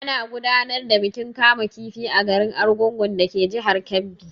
Ana gudanar da bikin kama kifi a garin Argungun dake jihar Kebbi.